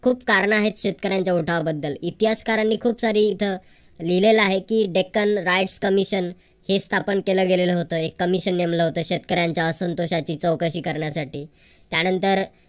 खूप कारण आहेत शेतकऱ्यांच्या उठावाबद्दल. इतिहासकारानी खूप सारी इथं लिहिलेल आहे की dekkan ray commission हे स्थापन केलेलं गेलेलं होतं. एक commission नेमलं होतं शेतकऱ्यांच्या असंतोषासाठी चौकशी करण्यासाठी त्यानंतर